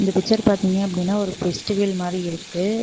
இந்த பிச்சர் பார்த்தீங்க அப்படின்னா ஒரு பெஸ்டிவல் மாறி இருக்கு.